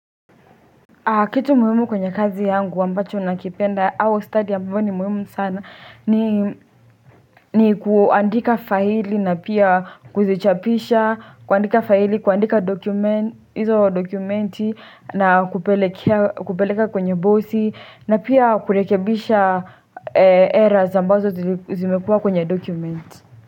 Kitu muhimu kwenye kazi yangu ambacho nakipenda au study ambayo ni muhimu sana ni kuandika faili na pia kuzichapisha, kuandika faili, kuandika dokumenti na kupeleka kwenye bosi na pia kurekebisha errors ambazo zimekuwa kwenye dokumenti.